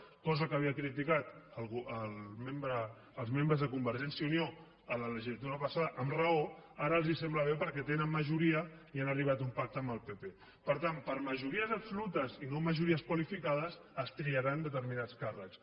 cosa que havien criticat els membres de convergència i unió a la legislatura passada amb raó ara els sembla bé perquè tenen majoria i han arribat a un pacte amb el pp per tant per majories absolutes i no majories qualificades es triaran determinats càrrecs